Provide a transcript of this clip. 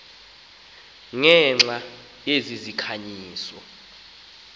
ngenxa yezi zikhanyiso